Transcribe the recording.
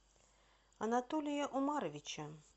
анатолия умаровича